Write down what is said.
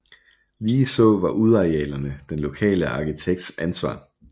Ligeså var udearealerne den lokale arkitekts ansvar